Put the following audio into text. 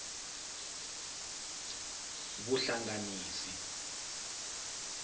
vuhlanganisi